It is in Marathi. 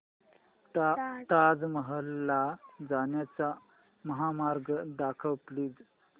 ताज महल ला जाण्याचा महामार्ग दाखव प्लीज